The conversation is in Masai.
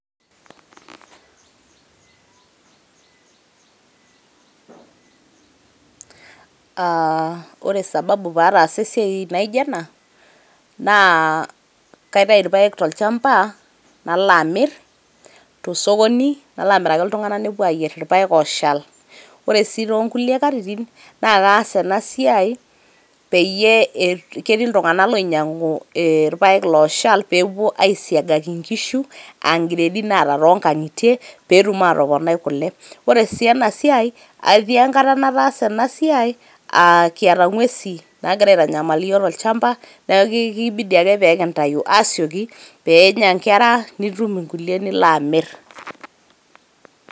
Ah ore sababu paata esiai naijo ena, naa kaitayu irpaek tolchamba, nalo amir tosokoni, nalo amiraki iltung'anak nepuo ayier irpaek oshal. Ore si tonkulie katitin, na kaas enasiai peyie ketii iltung'anak loinyang'u irpaek loshal pepuo aisiagaki nkishu, ah gredi naata tonkang'itie, petum atoponai kule. Ore si enasiai, etii enkata nataasa enasiai ah kiata ng'uesin nagira aitanyamal iyiok tolchamba, neeku kibidi ake pekintayu asioki, penya nkera nitum inkulie nilo amir.